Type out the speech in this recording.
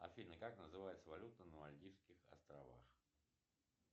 афина как называется валюта на мальдивских островах